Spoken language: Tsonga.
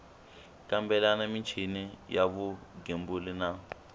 kambela michini ya vugembuli na